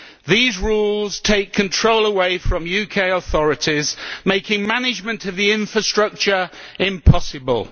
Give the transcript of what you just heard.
These rules take control away from UK authorities, making management of the infrastructure impossible.